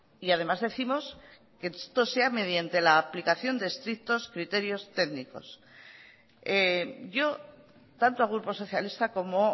y además décimos que esto sea mediante la aplicación de estrictos criterios técnicos yo tanto al grupo socialista como